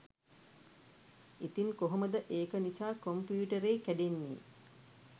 ඉතින් කොහොමද ඒක නිසා කොම්පියුටරේ කැඩෙන්නේ